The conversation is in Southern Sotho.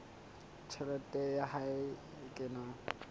tjhelete ya hae e kenang